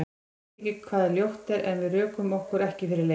Ég veit ekki hvað ljótt er, að við rökum okkur ekki fyrir leik?